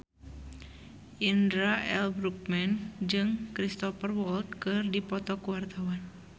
Indra L. Bruggman jeung Cristhoper Waltz keur dipoto ku wartawan